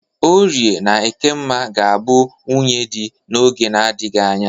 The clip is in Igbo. Orie na Ekemma ga-abụ nwunye dị n'oge na-adaghị anya.